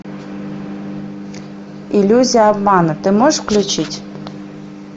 иллюзия обмана ты можешь включить